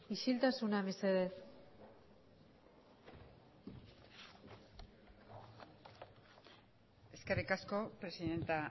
isiltasuna mesedez eskerrik asko presidente